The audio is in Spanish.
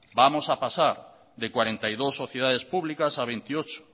vamos a pasar de cuarenta y dos sociedades públicas a veintiocho